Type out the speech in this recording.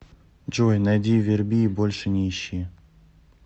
джой найди верби больше не ищи